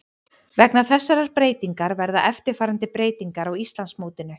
Vegna þessarar breytingar verða eftirfarandi breytingar á Íslandsmótinu: